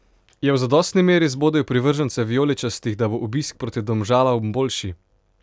Je v zadostni meri zbodel privržence vijoličastih, da bo obisk proti Domžalam boljši?